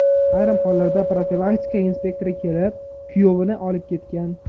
Ayrim hollarda profilaktika inspektori kelib, kuyovini olib ketgan.